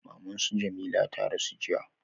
Maman su Jamila ta rasu jiya